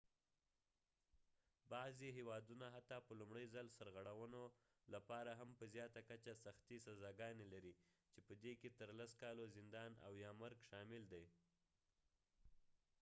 بعضې هیوادونه حتی په لومړي ځل سرغړونو لپاره هم په زیاته کچه سختې سزاګانې لري چې په دې کې تر 10 کالو زندان او یا مرګ شامل دی